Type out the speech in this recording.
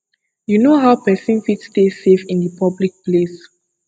you know how pesin fit stay safe in di public place